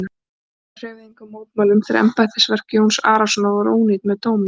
Ormur hreyfði engum mótmælum þegar embættisverk Jóns Arasonar voru ónýtt með dómi.